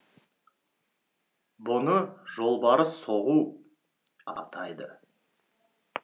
бұны жолбарыс соғу әрекеті деп те атайды